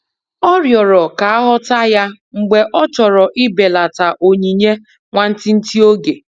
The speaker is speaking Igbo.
Ọ riọrọ ka aghọta ya mgbe ọ chọrọ ibelata onyinye nwantịtị oge.